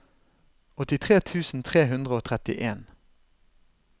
åttitre tusen tre hundre og trettien